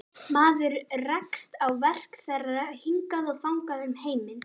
Maður rekst á verk þeirra hingað og þangað um heiminn.